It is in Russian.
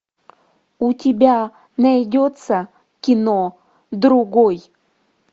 у тебя найдется кино другой